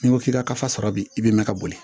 N'i ko k'i ka kasa sɔrɔ bi i bi mɛn ka boli